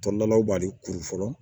Tɔlilaw b'ale kuru fɔlɔ